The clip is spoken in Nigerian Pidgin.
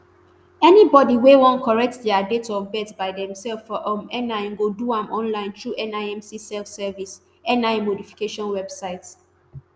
anybody wey wan correct dia date of birth by themselves for um nin go do am online throughnimc selfservice nin modification website